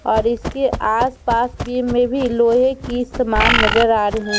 --और इसके आस-पास बीम में भी लोहे की समान नजर आ रही --